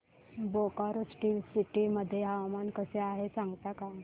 Bokaro steel city मध्ये हवामान कसे आहे सांगता का